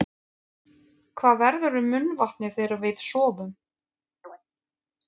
Hvað verður um munnvatnið þegar við sofum?